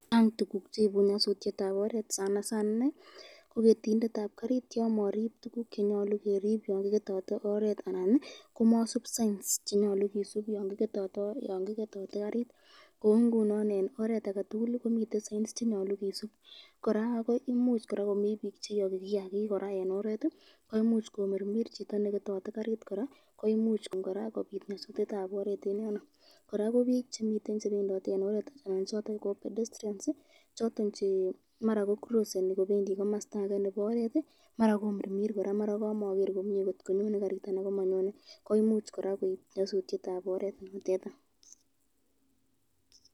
Chang tukukcheibu nyasutyetab oret, sanasana inei ko ketindetab karit yan maisisub tukuk chenyolu kisub eng oret, anan komaisub signs choton chemiten oret, kou ngunon eng oret komiten signs cheyoche kisub